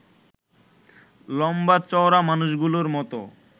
লম্বা-চওড়া মানুষগুলোর মতো